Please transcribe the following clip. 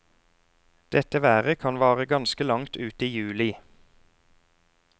Dette været kan vare ganske langt ut i juli.